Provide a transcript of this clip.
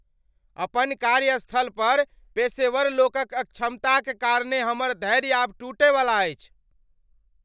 अपन कार्यस्थल पर पेशेवर लोकक अक्षमताक कारणेँ हमर धैर्य आब टूटयवला अछि।